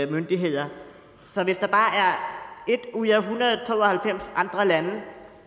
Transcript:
myndigheder så hvis der bare er ét ud af en hundrede og to og halvfems andre lande